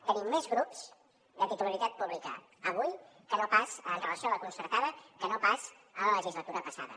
tenim més grups de titularitat pública avui amb relació a la concertada que no pas en la legislatura passada